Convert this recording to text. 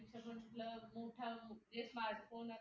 ते smart phone